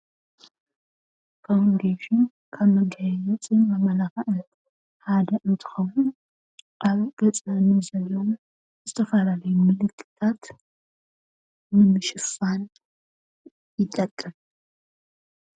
ፋዉንዴሽን መጋያየፅን መመላኽዕን ሓደ እንትኸውን ኣብ ገፀን ዘሎ ዝተፈላለዩ ምልክታት ንምሽፋን ይጠቅም፡፡